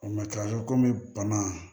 O matarafa komi bana